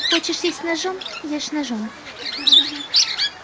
хочешь есть ножом ешь ножом